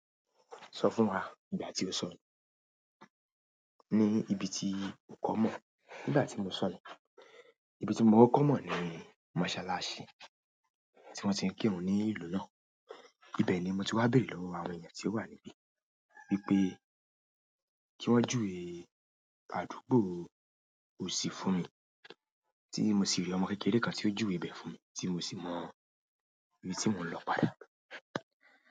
Sọ fún wa ìgbà tí o sọ̀rọ̀ ní ibi tí o kọ́ mọ̀. Nígbà tí mo salọ, ibi tí mo kọ kọ́ mọ̀ ni mosalasi tí wọ́n ti ń kírun ní ìlú náà. Ibẹ̀ ni mo ti wá béèrè lọ́wọ́ àwọn èèyàn tí ó wà níbí wípé kí wọn júwe àdúgbò Osi fún mi tí mo sì rí ọmọ kékeré kan tí ó júwe ibẹ̀ fún mi tí mo sì mọ ibi tí mò ń lọ padà.